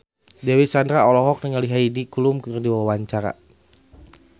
Dewi Sandra olohok ningali Heidi Klum keur diwawancara